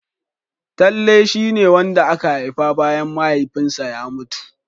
Talle shia ne wanda aka haifa bayan Mahaifinsa ya mutu.